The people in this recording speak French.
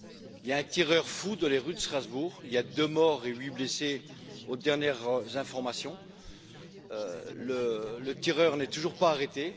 Il y a un tireur fou dans les rues de Strasbourg, il y a deux morts et huit blessés, selon les dernières informations, et le tireur n'est toujours pas arrêté.